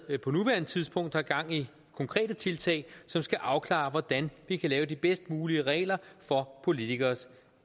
på nuværende tidspunkt har gang i konkrete tiltag som skal afklare hvordan vi kan lave de bedst mulige regler for politikeres